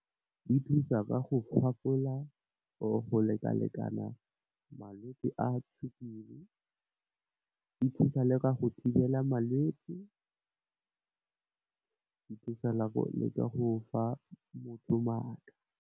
E thusa ka go gopola, go lekalekana malwetse a sukiri, e thusa le ka go thibela malwetsi, e thusa le go le ka go fa motho matla.